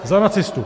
Za nacistu.